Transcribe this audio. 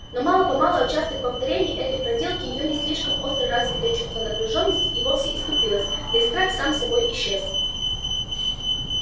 но мало-помалу от частых повторений этой проделки её не слишком остро развитое чувство напряжённости и вовсе притупилось да и страх сам собой исчез